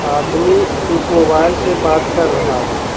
आदमी एक मोबाइल से बात कर रहा है।